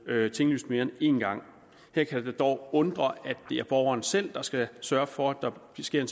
blevet tinglyst mere end en gang her kan det dog undre at det er borgeren selv der skal sørge for at der sker en